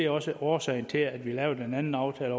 også er årsagen til at vi har lavet den anden aftale